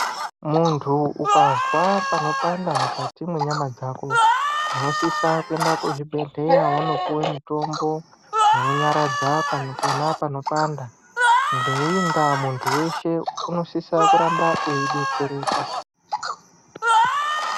Muntu ukazwa panopanda mukati mwenyama dzakodzo unosisa kuenda kuzvibhedhleya wonopuwe mutombo unonyaradza pano pona panopanda ngeiyi ndaa muntu weshe unosisa kuramba eidetsereka.